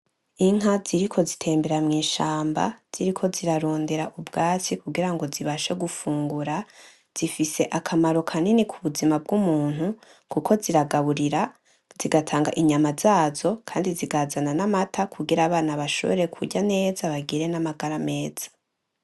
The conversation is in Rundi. Inka ziriko zitembera mw'ishamba, ziriko zirarondera ubwatsi kugirango zibashe gufungura, zifise akamaro kanini ku buzima bw'umuntu, kuko ziragaburira, zigatanga inyama zazo kandi zikazana n'amata kugira abana bashobore kurya neza bagire n'amagara meza.